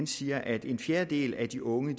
siger at en fjerdedel af de unge